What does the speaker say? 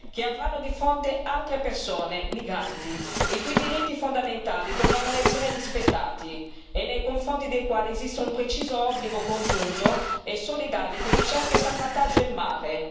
che avranno di fronte altre persone, migranti, i cui diritti fondamentali dovranno essere rispettati e nei confronti dei quali esiste un preciso obbligo congiunto e solidale di ricerca e salvataggio in mare.